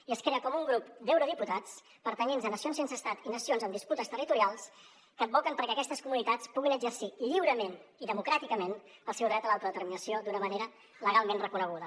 i es crea com un grup d’eurodiputats pertanyents a nacions sense estat i nacions amb disputes territorials que advoquen perquè aquestes comunitats puguin exercir lliurement i democràticament el seu dret a l’autodeterminació d’una manera legalment reconeguda